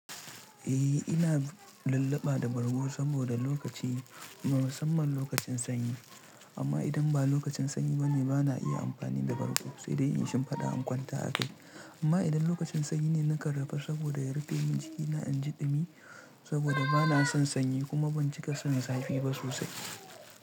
Eh ina lulluɓa da bargo saboda lokaci, musamman lokacin sanyi. Amma idan ba lokacin sanyi bane bana iya amfani da bargo, sai dai in yi shimfiɗa in kwanta a kai. Amma idan lokacin sanyi ne, na kan rufa saboda ya rufe min jikina, in ji ɗumi saboda bana son sanyi kuma ban cika son zafi ba sosai.